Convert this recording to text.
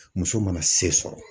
Muso mana se sɔrɔ.